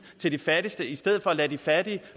til de fattigste i stedet for at lade de fattige